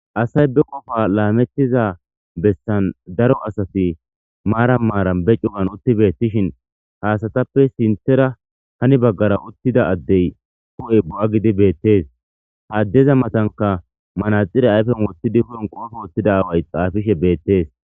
Hasay be qofa laamettiza bessan daro asati maara maaran be cugan utti beettishin haasatappe sinthera hani baggara uttida addey ku7e bu7a gidi beettees.haaddeza matanka manaxire ayfen wottidi hoon qoofe wottida aaway xaafishe beettees.